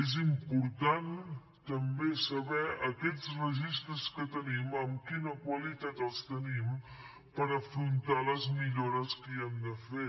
és important també saber aquests registres que tenim amb quina qualitat els tenim per afrontar les millores que hi hem de fer